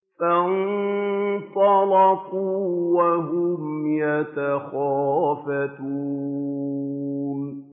فَانطَلَقُوا وَهُمْ يَتَخَافَتُونَ